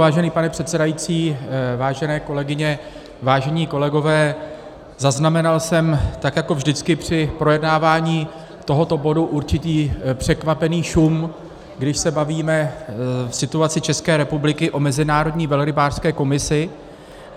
Vážený pane předsedající, vážené kolegyně, vážení kolegové, zaznamenal jsem, tak jako vždycky při projednávání tohoto bodu, určitý překvapený šum, když se bavíme v situaci České republiky o Mezinárodní velrybářské komisi.